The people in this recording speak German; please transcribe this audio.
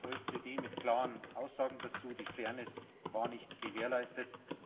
Die OECD mit klaren Aussagen dazu Die Fairness war nicht gewährleistet.